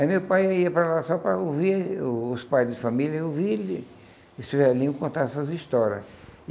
Aí meu pai ia para lá só para ouvir o os pais de família e ouvir esse velhinho contar essas histórias.